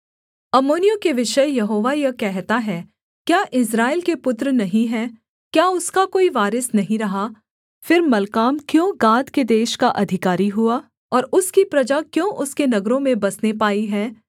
अम्मोनियों के विषय यहोवा यह कहता है क्या इस्राएल के पुत्र नहीं हैं क्या उसका कोई वारिस नहीं रहा फिर मल्काम क्यों गाद के देश का अधिकारी हुआ और उसकी प्रजा क्यों उसके नगरों में बसने पाई है